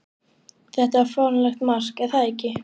Þetta var fáránlegt mark, er það ekki?